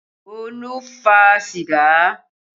Olu fa sìgá